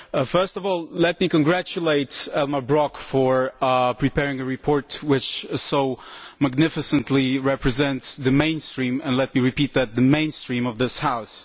First of all, let me congratulate Elmar Brok for preparing a report which so magnificently represents the mainstream, and let me repeat that, the mainstream of this House.